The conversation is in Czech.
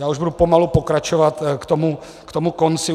Já už budu pomalu pokračovat k tomu konci.